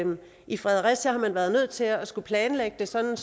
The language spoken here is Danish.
i fredericia har man været nødt til at skulle planlægge det sådan